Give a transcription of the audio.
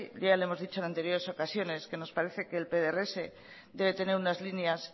ya le hemos dicho en anteriores ocasiones que nos parece que el pdrs debe tener unas líneas